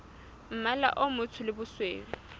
mmala o motsho le bosweu